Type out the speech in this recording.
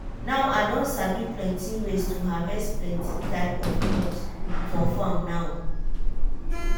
now i don sabi plenty ways to harvest plenty type of crops for farm now.